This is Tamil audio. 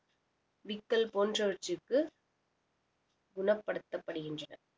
விக்கல் போன்றவற்றிற்கு குணப்படுத்தப்படுகின்றன